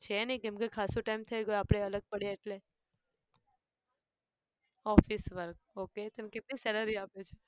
છે નહિ કેમ કે ખાસો time થઈ ગયો આપણે અલગ પડયા એટલે. office work ok. તને કેટલી salary આપે છે?